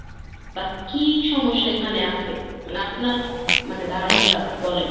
বা কি সমস্যা এখানে আসে? মানে আপনার ক~ মানে ধারণাটা বলেন।